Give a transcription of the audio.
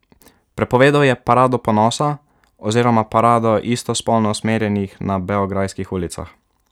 Prepovedal je Parado ponosa oziroma parado istospolno usmerjenih na beograjskih ulicah.